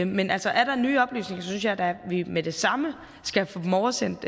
men altså er der nye oplysninger synes jeg da at vi med det samme skal få dem oversendt